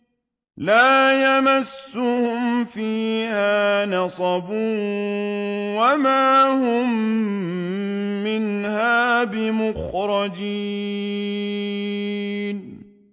لَا يَمَسُّهُمْ فِيهَا نَصَبٌ وَمَا هُم مِّنْهَا بِمُخْرَجِينَ